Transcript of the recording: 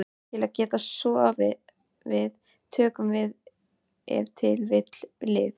Til að geta sofið tökum við ef til vill lyf.